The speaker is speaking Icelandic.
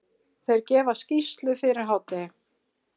Þeir gefa skýrslu fyrir hádegi.